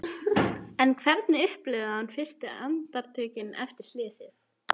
En hvernig upplifði hann fyrstu andartökin eftir slysið?